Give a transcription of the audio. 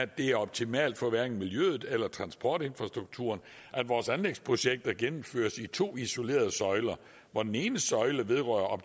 det er optimalt for hverken miljøet eller transportinfrastrukturen at vores anlægsprojekter gennemføres i to isolerede søjler hvor den ene søjle vedrører